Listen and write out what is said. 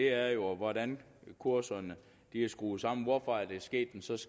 er jo hvordan kurserne er skruet sammen hvorfor er der sket en så